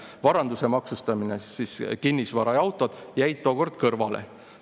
Varanduse maksustamine jäi kõrvale.